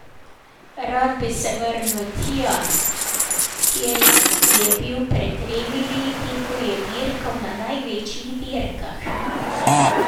Rad bi se vrnil tja, kjer je bil pred tremi leti, ko je dirkal na največjih dirkah.